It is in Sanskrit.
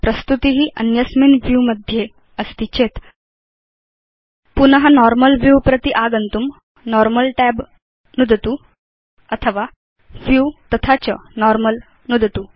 प्रस्तुति अन्यस्मिन् व्यू मध्ये अस्ति चेत् नॉर्मल tab नुदित्वा अथवा व्यू तथा च नॉर्मल नुदित्वा भवान् नॉर्मल व्यू प्रति गन्तुं शक्नोति